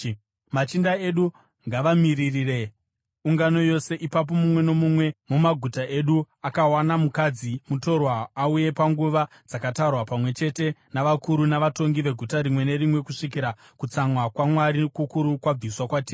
Machinda edu ngavamiririre ungano yose. Ipapo mumwe nomumwe mumaguta edu akawana mukadzi mutorwa auye panguva dzakatarwa, pamwe chete navakuru navatongi veguta rimwe nerimwe, kusvikira kutsamwa kwaMwari kukuru kwabviswa kwatiri.”